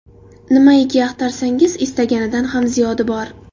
Nimaiki axtarsangiz, istaganingizdan ham ziyodi bor.